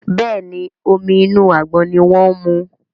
Béèni Omi inú àgbọn ní wón mu.